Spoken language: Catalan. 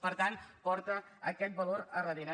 per tant porta aquest valor darrere